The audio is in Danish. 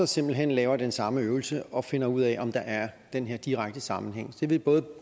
simpelt hen laver den samme øvelse og finder ud af om der er den her direkte sammenhæng det ville både